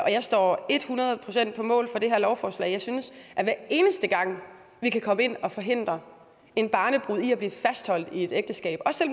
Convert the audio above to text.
jeg står et hundrede procent på mål for det her lovforslag jeg synes at hver eneste gang vi kan komme ind og forhindre en barnebrud i at blive fastholdt i et ægteskab også